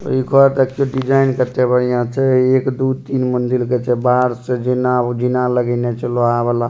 इ एक और देखिए डिज़ाइन करते बढ़िया छै एक दो तीन मंजिला कर छै बाहर से जीना जीना लगिने लोहा वाला।